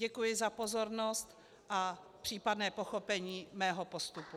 Děkuji za pozornost a případné pochopení mého postupu.